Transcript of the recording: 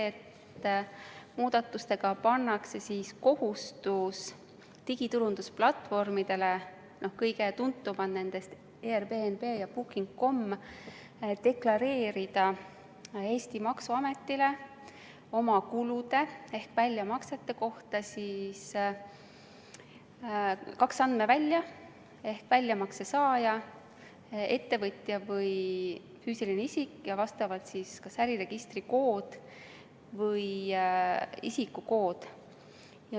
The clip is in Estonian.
Nende muudatustega pannakse digiturundusplatvormidele – kõige tuntumad nendest on Airbnb ja booking.com – kohustus deklareerida Eesti maksuametile oma kulude ehk väljamaksete kohta aru andmiseks kahel andmeväljal väljamakse saaja ehk siis ettevõtja või füüsiline isik ja vastavalt kas äriregistrikood või isikukood.